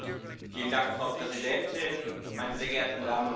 Frau Präsidentin, meine sehr geehrten Damen und Herren!